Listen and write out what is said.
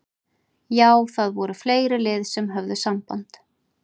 Já það voru fleiri lið sem að höfðu samband.